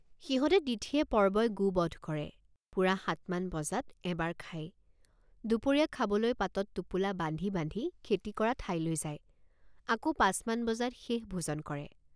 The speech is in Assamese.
সিহঁতে তিথিয়েপৰ্বই গোবধ কৰে। সিহঁতে তিথিয়েপৰ্বই গোবধ কৰে। পুৰা সাতমান বজাত এবাৰ খায় দুপৰীয়া খাবলৈ পাতত টোপোলা বান্ধি বান্ধি খেতি কৰা ঠাইলৈ যায় আকৌপাঁচমান বজাত শেষ ভোজন কৰে।